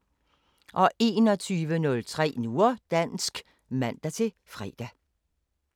21:03: Nu og dansk (man-fre)